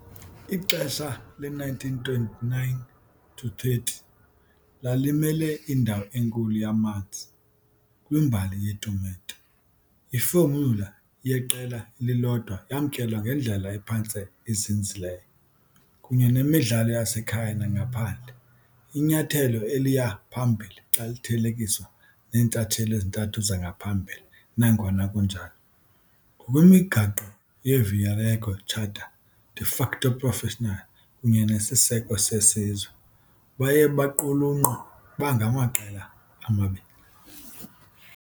Ixesha le-1929-30 lalimele indawo enkulu yamanzi kwimbali yetumente- ifomyula yeqela elilodwa yamkelwa ngendlela ephantse izinzileyo, kunye nemidlalo yasekhaya nangaphandle, inyathelo eliya phambili xa lithelekiswa neentshatsheli ezintathu zangaphambili, nangona kunjalo - ngokwemigaqo yeViareggio charter - de facto professional kunye nesiseko sesizwe, baye baqulunqwa bangamaqela amabini.